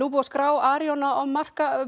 búið að skrá Arion á markað